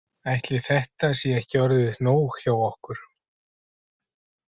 Ætli þetta sé ekki orðið nóg hjá okkur.